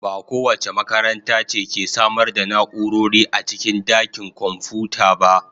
Ba kowace makaranta ce ke samar da na'urori a cikin dakin kwamfuta ba.